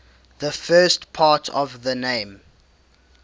the first part of the name